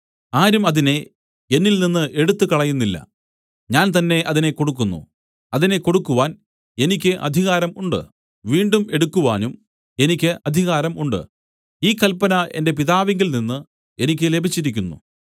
ആരും അതിനെ എന്നിൽനിന്ന് എടുത്തുകളയുന്നില്ല ഞാൻ തന്നേ അതിനെ കൊടുക്കുന്നു അതിനെ കൊടുക്കുവാൻ എനിക്ക് അധികാരം ഉണ്ട് വീണ്ടും എടുക്കുവാനും എനിക്ക് അധികാരം ഉണ്ട് ഈ കല്പന എന്റെ പിതാവിങ്കൽ നിന്നു എനിക്ക് ലഭിച്ചിരിക്കുന്നു